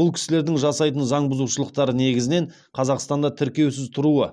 бұл кісілердің жасайтын заң бұзушылықтары негізінен қазақстанда тіркеусіз тұруы